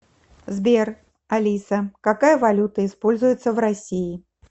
сбер алиса какая валюта используется в россии